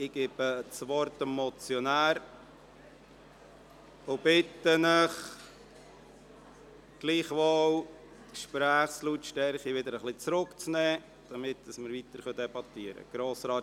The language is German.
Ich gebe dem Motionär das Wort und bitte Sie, gleichwohl die Gesprächslautstärke wieder etwas zurückzunehmen, damit wir weiterdebattierten können.